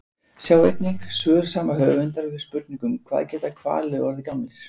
Sjá einnig: Svör sama höfundar við spurningunum Hvað geta hvalir orðið gamlir?